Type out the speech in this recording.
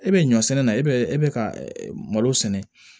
E bɛ ɲɔ sɛnɛ na e bɛ e bɛ ka malo sɛnɛ